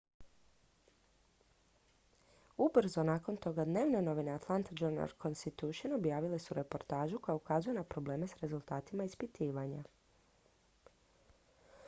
ubrzo nakon toga dnevne novine atlanta journal-constitution objavile su reportažu koja ukazuje na probleme s rezultatima ispitivanja